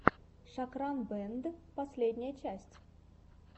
шокран бэнд последняя часть